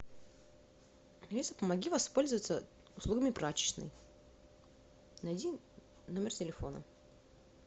алиса помоги воспользоваться услугами прачечной найди номер телефона